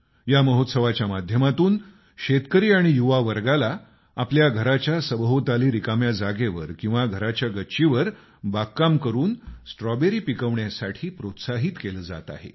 या महोत्सवाच्या माध्यमातून शेतकरी आणि युवावर्गाला आपल्या घराच्या सभोवताली रिकाम्या जागेवर किंवा घराच्या गच्चीवर बागकाम करून स्ट्रॉबेरी पिकवण्यासाठी प्रोत्साहित केलं जात आहे